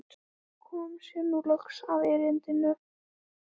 Og kom sér nú loks að erindinu.